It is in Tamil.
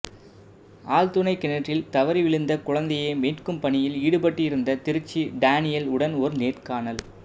ஆழ்துளை கிணற்றில் தவறி விழுந்த குழந்தையை மீட்கும் பணியில் ஈடுபட்டிருந்த திருச்சி டானியல் உடன் ஒரு நேர்காணல்